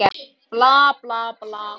Bla, bla, bla.